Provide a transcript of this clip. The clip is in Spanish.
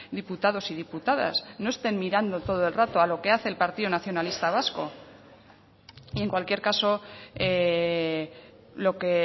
diputados y diputadas no estén mirando todo el rato a lo que hace el partido nacionalista vasco y en cualquier caso lo que